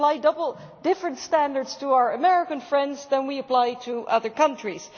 We apply different standards to our American friends than we apply to other countries.